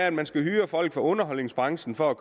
at man skal hyre folk fra underholdningsbranchen for at